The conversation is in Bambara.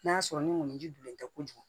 N'a y'a sɔrɔ ni mɔni ji donnen tɛ kojugu